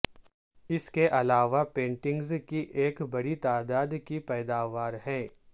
اس کے علاوہ پینٹنگز کی ایک بڑی تعداد کی پیداوار ہے